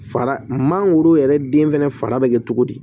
Fara mangoro yɛrɛ den fɛnɛ fari bɛ kɛ cogo di